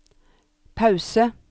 pause